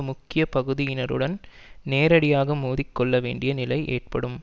முக்கிய பகுதியினருடன் நேரடியாக மோதிக்கொள்ள வேண்டிய நிலை ஏற்படும்